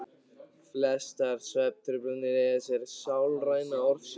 Flestar svefntruflanir eiga sér sálræna orsök.